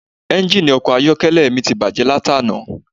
Engini ọkọ̀ ayọ́kẹ́lẹ́ mi ti bàjé láti àná